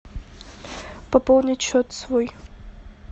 пополнить счет свой